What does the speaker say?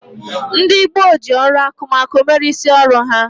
Ndị gboo ji ọrụ akụmakụ mere isi ọrụ ha.